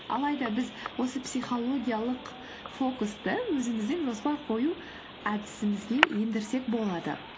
алайда біз осы психологиялық фокусты өзіміздің жоспар қою әдісімізге ендірсек болады